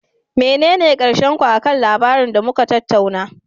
Menene karshen ku akan lamarin da muka tattauna?